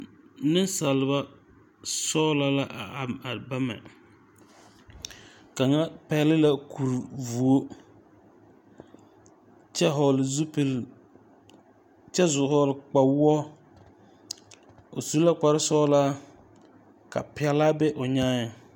Neŋsalba sɔglɔ la a am bama kaŋa pɛgle la kuri vuo kyɛ hɔɔle zupile kyɛ zu hɔɔle kpawoɔ o su la kparesɔglaa ka pɛlaa be o nyaaŋ.